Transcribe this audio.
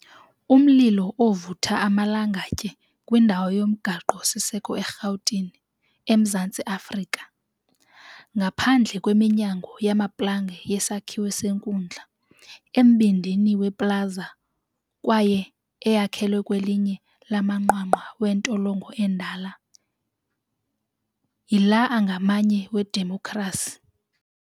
Umlilo ovutha amalongotye kwindawo yomgaqo-siseko eRhawutini, eMzantsi Afrika.Ngaphandle kweminyango yamaplanga yesakhiwo senkundla, embindini weplaza kwaye eyakhelwe kwelinye lamanqwanqwa wentolongo endala yiLanganye Ledemokhrasi.